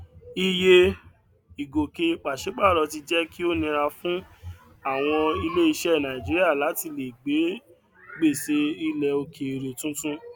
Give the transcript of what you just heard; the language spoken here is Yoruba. iye ìgòkè pàṣípàrọ ti jẹ kí ó nira fún àwọn ilé iṣẹ nàìjíríà láti lè gbé gbèsè ilẹ òkèèrè tuntun